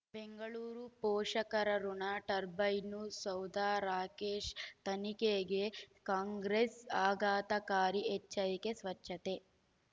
ಬೆಂಗಳೂರು ಪೋಷಕರಋಣ ಟರ್ಬೈನು ಸೌಧ ರಾಕೇಶ್ ತನಿಖೆಗೆ ಕಾಂಗ್ರೆಸ್ ಆಘಾತಕಾರಿ ಎಚ್ಚರಿಕೆ ಸ್ವಚ್ಛತೆ